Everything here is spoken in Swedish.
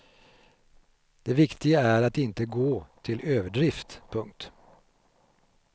Det viktiga är att inte gå till överdrift. punkt